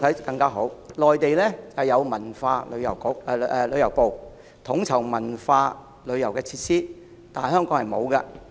在內地是由文化和旅遊部統籌文化旅遊設施，但在香港卻沒有這類部門。